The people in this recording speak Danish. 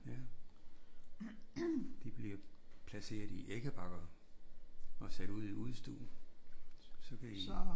Ja de bliver placeret i æggebakker og sat ud i udestuen. Så kan de